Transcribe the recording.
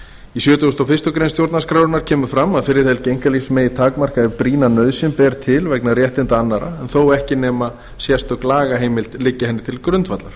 í sjötugasta og fyrstu grein stjórnarskrárinnar kemur fram að friðhelgi einkalífsins megi takmarka ef brýna nauðsyn ber til vegna réttinda annarra þó ekki nema sérstök lagaheimild liggi henni til grundvallar